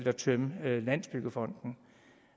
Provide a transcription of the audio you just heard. at tømme landsbyggefonden